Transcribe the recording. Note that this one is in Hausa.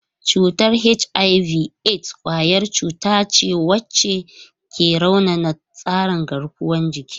Cutar HIV/AIDS kwayar cuta wacce ke raunana tsarin garkuwar jiki.